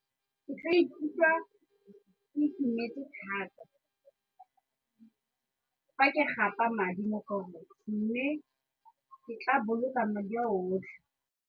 Ke ka ikutlwa ke itumetse thata fa ke gapa madi mo forex mme ke tla boloka madi a otlhe.